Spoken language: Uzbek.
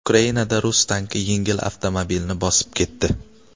Ukrainada rus tanki yengil avtomobilni bosib ketdi.